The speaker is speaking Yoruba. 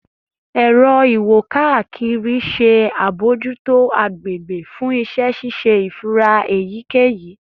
Ẹrọ iwo-kakiri ṣe abojuto agbegbe fun iṣẹ ṣiṣe ifura eyikeyi